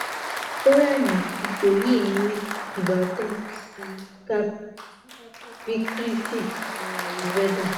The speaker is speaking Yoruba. ọrẹ mi ipo yii ni ibatan si kaph vikriti ni ayurveda